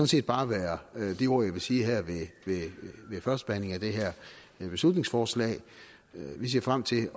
set bare være de ord jeg vil sige her ved førstebehandlingen af det her beslutningsforslag vi ser frem til